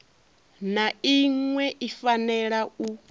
na iṅwe i fanela u